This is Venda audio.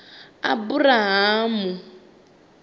aburahamu